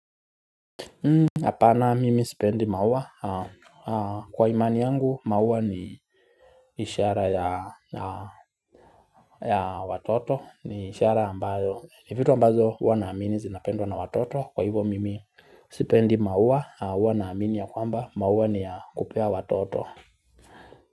Hapana mimi sipendi maua kwa imani yangu maua ni ishara ya watoto ni ishara ambayo ni vitu ambazo huwa naamini zinapendwa na watoto kwa hivo mimi sipendi maua huwa naamini ya kwamba maua ni ya kupea watoto.